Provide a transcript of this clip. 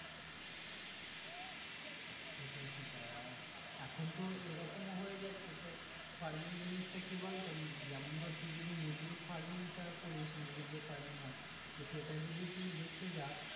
সেটাই সেটাই এখন তো এই রকম হয়ে যাচ্ছে তোর farming জিনিস টা কি বলতো যেমন তুই মুরগির farming তা করিস মুরগির যে farming সেটা যদি তুইদেখতে যাস।